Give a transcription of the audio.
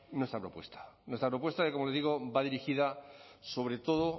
nuestra propuesta nuestra propuesta que como les digo va dirigida sobre todo